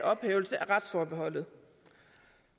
ophævelse af retsforbeholdet